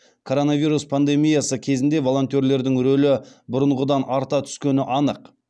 коронавирус пандемиясы кезінде волонтерлердің рөлі бұрынғыдан арта түскені анық